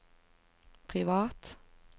privat